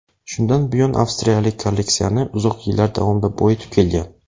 Shundan buyon avstriyalik kolleksiyasini uzoq yillar davomida boyitib kelgan.